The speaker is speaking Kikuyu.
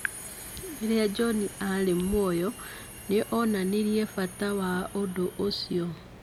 "Rĩrĩa John aarĩ muoyo, nĩ onanirie bata wa ũndũ ũcio".